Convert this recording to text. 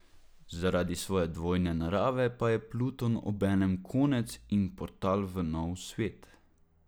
Zaradi svoje dvojne narave pa je Pluton obenem konec in portal v nov svet.